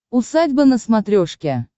усадьба на смотрешке